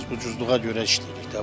Biz ucuzluğa görə işləyirik də.